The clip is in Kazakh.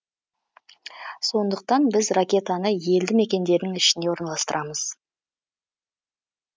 сондықтан біз ракетаны елді мекендердің ішіне орналастырамыз